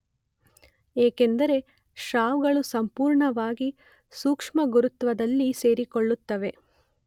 ಏಕೆಂದರೆ ಸ್ರಾವಗಳು ಸಂಪೂರ್ಣವಾಗಿ ಸೂಕ್ಷ್ಮಗುರುತ್ವದಲ್ಲಿ ಸೇರಿಕೊಳ್ಳುತ್ತವೆ.